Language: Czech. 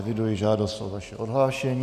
Eviduji žádost o vaše odhlášení.